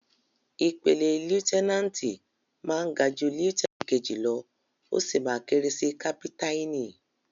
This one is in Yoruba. Ìpele lieutẹ́náǹtì máa ga jú lieutẹ́náǹtì kejì lọ́, ó sì máa kéré sí kápítáìnì.